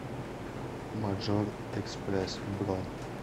маджор экспресс бронь